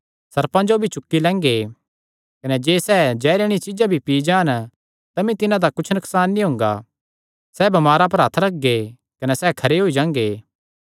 सर्पां जो भी चुक्की लैंगे कने जे सैह़ जैहरे आल़िआं चीज्जां भी पी जान तमी तिन्हां दा कुच्छ नकसान नीं हुंगा सैह़ बमारां पर हत्थ रखगे कने सैह़ खरे होई जांगे